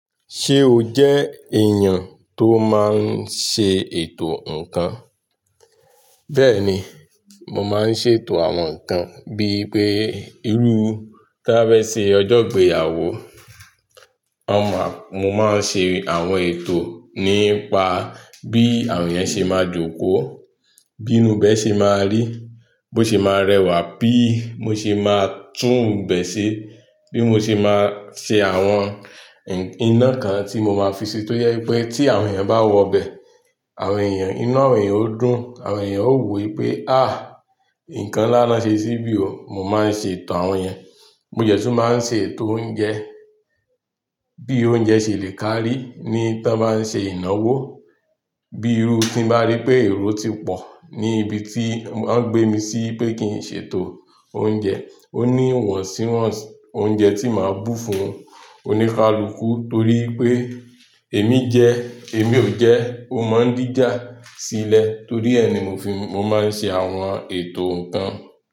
Ṣe oje èèyàn tó máa n se ètò nnkan. Bẹ́ẹ̀ni, mo máa ń ṣe ètò àwọn nǹkan bíi pé irú, tí a bá ṣe ọjọ́ ìgbéyàwó, a máa, mo máa ṣe àwọn ètò nípa bí àwọn èèyàn ṣe máa jókòó, bí inú ibẹ̀ ṣe máa rí, bó ṣe máa rẹwà, bí mo ṣe máa tún ibẹ̀ ṣe, bí mo ṣe máa ṣe àwọn iná kan tí mo máa fi ṣe tó yẹ pé tí àwọn èèyàn bá wọ bẹ̀, àwọn èèyàn, inú àwọn èèyàn ó dùn, àwọn èèyàn ó wí pé "àh! Nǹkan ńlá lọ ṣe síbí o." Mo máa ń ṣe ètò àwọn yen, mo jẹ̀ tu máa ń ṣe ètò oúnjẹ, bí oúnjẹ ṣe lè kárí ní tí wọ́n bá ń ṣe ìnáwó, bí irú tí mo bá rí pé èrò ti pọ̀ ní ibi tí wọ́n ń gbé mi sí pé kí n ṣe ètò oúnjẹ, ó ní ìwọ̀nsìwọ̀n oúnjẹ tí màá bù fún oníkálukú torí pé èmi jẹ, èmi ò jẹ́, o máa ń díjà sílẹ̀ torí ẹ ni mo fi, mo máa ń ṣe àwọn ètò nǹkan.